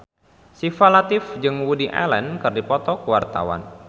Syifa Latief jeung Woody Allen keur dipoto ku wartawan